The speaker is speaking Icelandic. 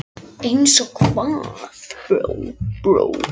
Fíflagangurinn var samur við sig í þessu máli.